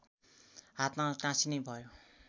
हातमा टाँसिने भयो